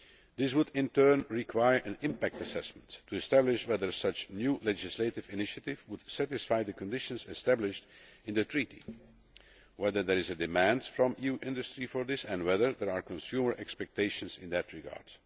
This would in turn require an impact assessment to establish whether such a new legislative initiative would satisfy the conditions established in the Treaty, whether there is a demand from EU industry for this and whether there are consumer expectations in that regard.